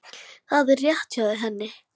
Það er rétt hjá henni.